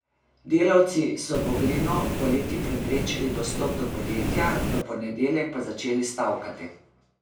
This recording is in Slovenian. Delavci so Vogrinu poleti preprečili dostop do podjetja, v ponedeljek pa začeli stavkati.